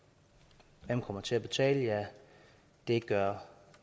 som kommer til at betale ja det gør